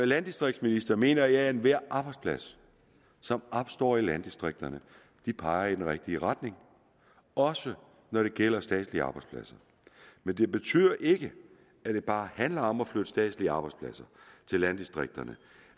landdistriktsminister mener jeg at enhver arbejdsplads som opstår i landdistrikterne peger i den rigtige retning også når det gælder statslige arbejdspladser men det betyder ikke at det bare handler om at flytte statslige arbejdspladser til landdistrikterne